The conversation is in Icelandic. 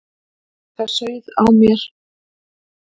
Það sauð á mér.